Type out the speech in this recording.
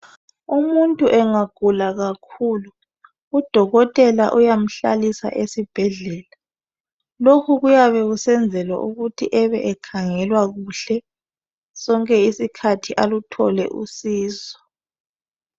Umuntu engagula kakhulu udokotela uyamhlalisa esibhedlela. Lokhu kuyabe kusenzelwa ukuthi ebe ekhangelwq kuhle sonke isikhathi aluthole usizo.